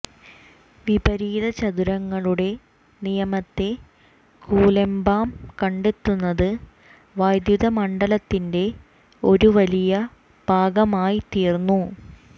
വിപരീത ചതുരങ്ങളുടെ നിയമത്തെ കുലെമ്പാം കണ്ടെത്തുന്നത് വൈദ്യുത മണ്ഡലത്തിന്റെ ഒരു വലിയ ഭാഗമായിത്തീർന്നു